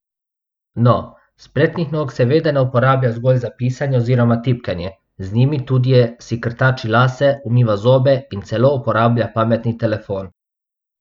No, spretnih nog seveda ne uporablja zgolj za pisanje oziroma tipkanje, z njimi tudi je, si krtači lase, umiva zobe in celo uporablja pametni telefon.